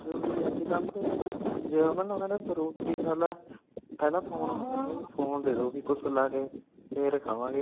ਅੱਜ ਕਲ ਤੇ ਜੇ ਓਹਨਾ ਨੂੰ ਕਹਿਣਾ ਤੂੰ ਰੋਟੀ ਖਾ ਲੈ ਪਹਿਲਾ phone ਮੰਗਣਗੇ ਬੀ phone ਦੇਦੋ ਕੂਸ਼ ਲਾਕੇ ਫੇਰ ਖਾਵਾਂਗੇ